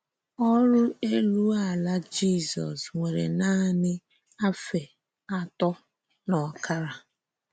Ọrụ́ ělú-àlà Jízọ́s wèrè nanị àfẹ̀ àtọ̀ n’ọ́kàrà.